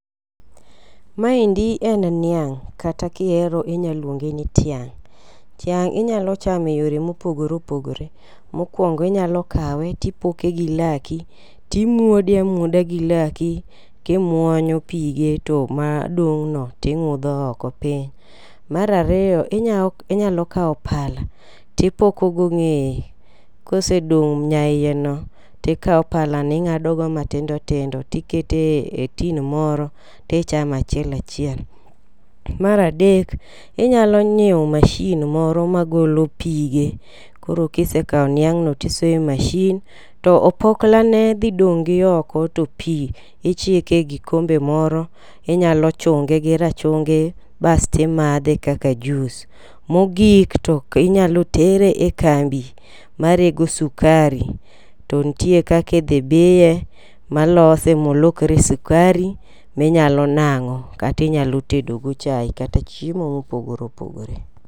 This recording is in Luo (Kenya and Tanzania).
Maendi en niang' kata kiero inya luonge ni tiang'. Tiang' inyalo chame yore mopogore opogore. Mokwongo inyalo kawo tipoke gi laki timuode amuoda gi laki kimuonyo pige to madong' no ting'udho oko piny. Mar ariyo inyalo kawo pala tipoko go ng'eye kosedong' nyaiye no tikawo pala ni ing'ade go matindo tindo tikete tin moro tichama chiel achiel. Mar adek inyalo nyiewo mashin moro magolo pige koro kisekawo niang' no tisoe mashin to opokla ne dhi dong' gioko to pii ichike gikombe more. Inyalo chunge gi rachungi basti madhe kaka jus. Mogik tinyalo tere e kambi marego sukari. To ntie kaki dhi biye ma lose molokre sukari minyalo nang'o kati nyalo tedo go chai kata chiemo mopogore opogore.